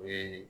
O ye